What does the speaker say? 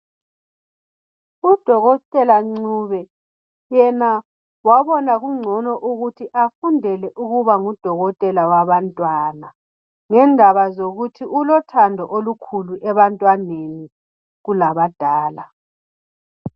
Udokotela Ncube yena wabona kungcono ukuthi afundele ukuba ngudokotela wabantwana ngendaba zokuthi ulothando olukhulu ebantwaneni kulabadala.